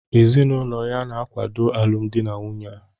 Ezinụlọ ya na-akwado alụmdi na nwunye a